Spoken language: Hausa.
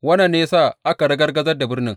Wannan ne ya sa aka ragargazar da birnin.